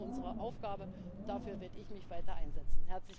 Das ist unsere Aufgabe, und dafür werde ich mich weiter einsetzen.